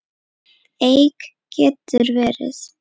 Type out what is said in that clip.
Eik getur verið